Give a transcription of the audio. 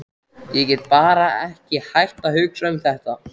Ég get bara ekki hætt að hugsa um þetta.